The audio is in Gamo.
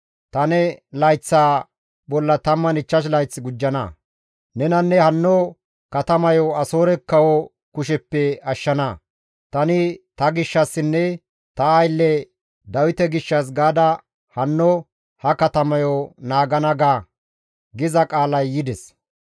Ta ne layththaa bolla 15 layth gujjana; nenanne hanno katamayo Asoore kawo kusheppe ashshana; tani ta gishshassinne ta aylle Dawite gishshas gaada hanno ha katamayo naagana› ga» giza qaalay yides.